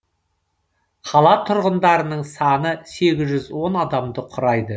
қала тұрғындарының саны сегіз жүз он адамды құрайды